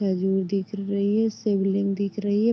खजूर दिख रही है। शिवलिंग दिख रही है।